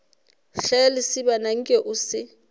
hle lesibana nke o se